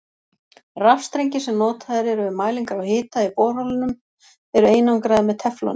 Rafstrengir sem notaðir eru við mælingar á hita í borholum eru einangraðir með tefloni.